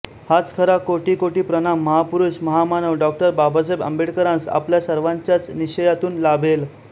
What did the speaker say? हाच खरा कोटीकोटी प्रणाम महापुरूष महामानव डॉ बाबासाहेब आंबेडकरांस आपल्या सर्वांच्यांच निश्चयातुन लाभेल